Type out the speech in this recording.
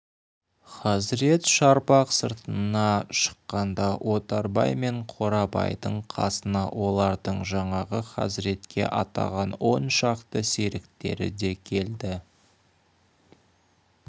хазірет шарбақ сыртына шыққанда отарбай мен қорабайдың қасына олардың жаңағы хазіретке атаған он шақты серіктері де келді